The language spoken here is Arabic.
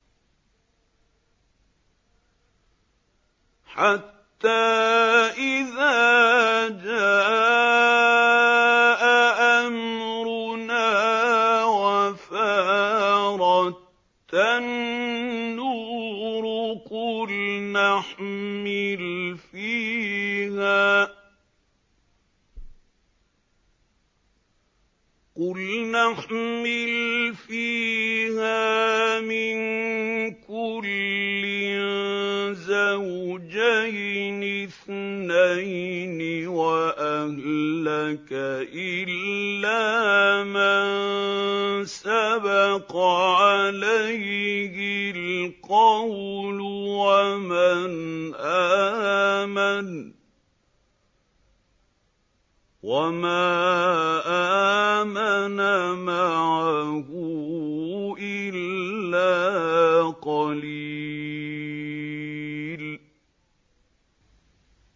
حَتَّىٰ إِذَا جَاءَ أَمْرُنَا وَفَارَ التَّنُّورُ قُلْنَا احْمِلْ فِيهَا مِن كُلٍّ زَوْجَيْنِ اثْنَيْنِ وَأَهْلَكَ إِلَّا مَن سَبَقَ عَلَيْهِ الْقَوْلُ وَمَنْ آمَنَ ۚ وَمَا آمَنَ مَعَهُ إِلَّا قَلِيلٌ